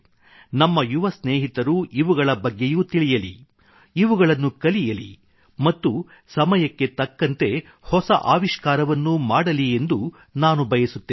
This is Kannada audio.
ನಮ್ಮ ಯುವ ಸ್ನೇಹಿತರು ಇವುಗಳ ಬಗ್ಗೆಯೂ ತಿಳಿಯಲಿ ಇವುಗಳನ್ನು ಕಲಿಯಲಿ ಮತ್ತು ಸಮಯಕ್ಕೆ ತಕ್ಕಂತೆ ಹೊಸ ಆವಿಷ್ಕಾರವನ್ನೂ ಮಾಡಲಿ ಎಂದು ನಾನು ಬಯಸುತ್ತೇನೆ